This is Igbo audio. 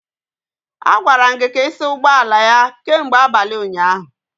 A gwara gị ka ị saa ụgbọ ala ya kemgbe abalị ụnyaahụ